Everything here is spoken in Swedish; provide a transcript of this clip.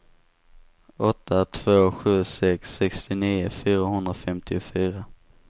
åtta två sju sex sextionio fyrahundrafemtiofyra